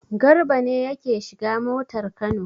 Garba ne yake shiga motar Kano.